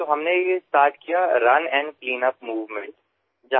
sir আমি আৰম্ভ কৰিলো ৰাণ এণ্ড ক্লীনআপ মুভমেণ্ট